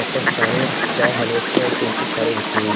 ऊपर सामने चार साड़ी रखी हैं उसके नीचे साड़ी बिछी हुई है।